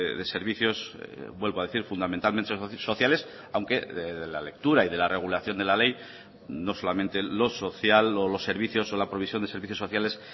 de servicios vuelvo a decir fundamentalmente sociales aunque la lectura y de la regulación de la ley no solamente lo social o los servicios o la provisión de servicios sociales